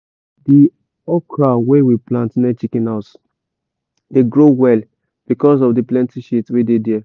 di okra wey we plant near chicken house dey grow well because of the plenty shit wey dey there.